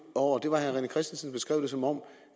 over det var at herre rené christensen beskrev det som om